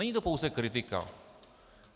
Není to pouze kritika.